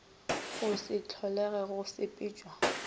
go se holege go sepetša